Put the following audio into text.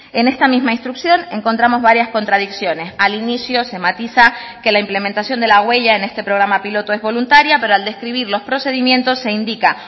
en esta misma instrucción encontramos varias contradicciones al inicio se matiza que la implementación de la huella en este programa piloto es voluntaria pero al describir los procedimientos se indica